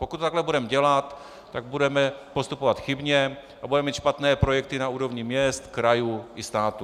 Pokud to takhle budeme dělat, tak budeme postupovat chybně a budeme mít špatné projekty na úrovni měst, krajů i států.